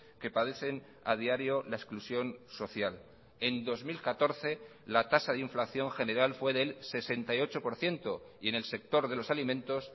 que padecen a diario la exclusión social en dos mil catorce la tasa de inflación general fue del sesenta y ocho por ciento y en el sector de los alimentos